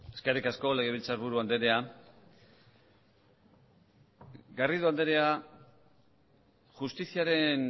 eskerrik asko legebiltzarburu andrea garrido andrea justiziaren